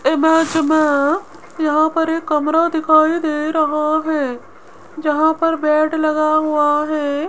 Image में यहां पर एक कमरा दिखाई दे रहा है जहां पर बेड लगा हुआ है।